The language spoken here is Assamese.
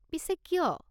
পিছে কিয়?